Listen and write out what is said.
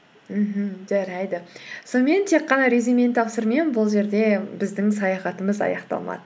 мхм жарайды сонымен тек қана резюмені тапсырумен бұл жерде біздің саяхатымыз аяқталмады